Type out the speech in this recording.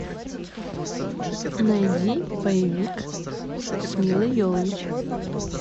найди боевик с милой йовович